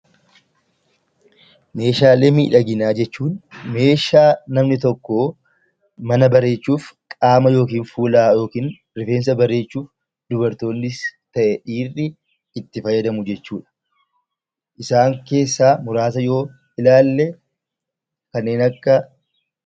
Meeshaalee miidhaginaa jechuun meeshaa namni tokko mana bareechuuf qaama yookiin fuula yookiin rifeensa bareechuuf, dubartoonnis ta'e dhiirri itti fayyadamu jechuu dha. Isaan keessaa muraasa yoo ilaalle kanneen akka...